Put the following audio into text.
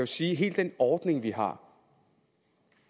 sige at hele den ordning vi har